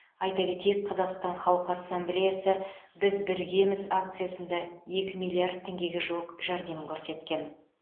айта кетейік қазақстан халқы ассамблеясы біз біргеміз акциясында екі миллиард теңгеге жуық жәрдем көрсеткен